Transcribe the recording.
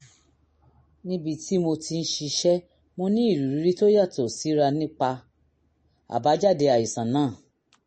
níbi tí mo ti ń ṣiṣẹ́ mo ní ìrírí tó yàtọ̀ síra nípa àbájáde àìsàn náà